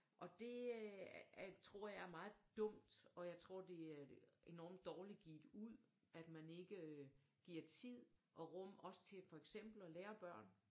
Og det øh tror jeg er meget dumt og jeg tror det er enormt dårligt givet ud at man ikke giver tid og rum også til for eksempel og lære børn